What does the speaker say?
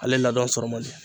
Ale ladon sɔrɔ man di.